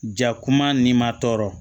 Jakuma n'i ma tɔɔrɔ